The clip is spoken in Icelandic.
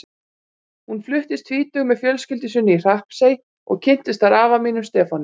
Hún fluttist tvítug með fjölskyldu sinni í Hrappsey og kynntist þar afa mínum, Stefáni.